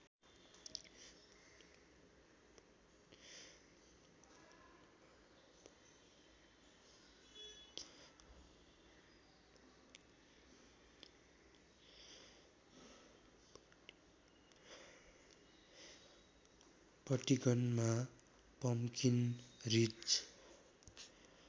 पटिगनमा pumpkin ridge